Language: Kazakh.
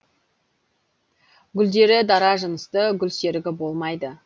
гүлдері дара жынысты гүлсерігі болмайды